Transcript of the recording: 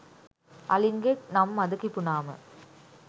අලින්ගේ නම් මද කිපුණාම